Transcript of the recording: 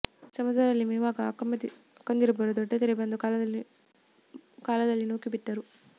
ಸಮುದ್ರದಲ್ಲಿ ಮೀವಾಗ ಅಕ್ಕಂದಿಬ್ಬರೂ ದೊಡ್ಡ ತೆರೆ ಬಂದ ಕಾಲದಲ್ಲಿ ನೂಕಿ ಬಿಟ್ಟರು